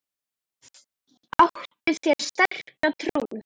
Áttu þér sterka trú?